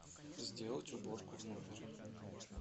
сделать уборку в номере